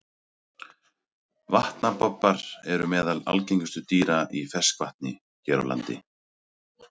Vatnabobbar eru meðal algengustu dýra í ferskvatni hér á landi.